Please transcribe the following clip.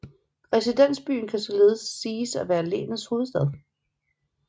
Residensbyen kan således siges at være länets hovedstad